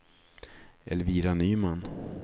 Elvira Nyman